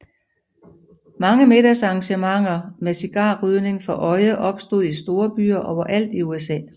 Mange middagsarrangementer med cigarrygning for øje opstod i storbyer overalt i USA